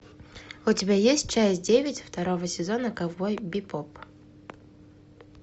у тебя есть часть девять второго сезона ковбой бибоп